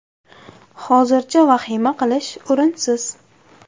Hozircha vahima qilish o‘rinsiz.